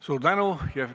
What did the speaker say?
Suur tänu!